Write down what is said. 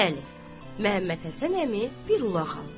Bəli, Məhəmməd Həsən əmi bir ulaq aldı.